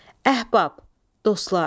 Əhbab, dostlar.